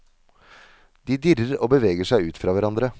De dirrer og beveger seg ut fra hverandre.